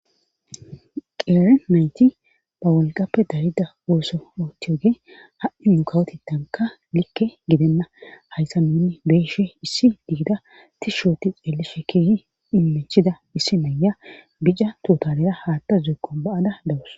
qeere nayti ba wolqappe darida uoso oohthiyoge ha7i mukawotitanka likke gidenna hayssa minni beeshe issi diida tishshooti xeelli shekeyi iminchida issi maya bija totalera haatta zuuqon ba7ada dawus